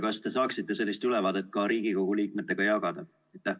Kas te saaksite seda ülevaadet ka Riigikogu liikmetega jagada?